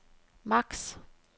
max